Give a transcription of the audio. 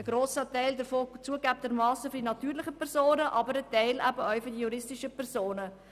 Ein grosser Teil davon betraf zugegebenermassen die natürlichen Personen, aber ein Teil auch die juristischen Personen.